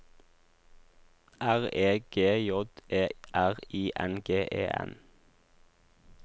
R E G J E R I N G E N